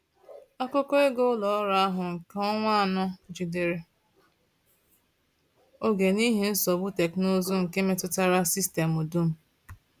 Akụkọ ego ụlọ ọrụ ahụ nke ọnwa anọ jidere oge n’ihi nsogbu teknụzụ nke metụtara sistemụ dum.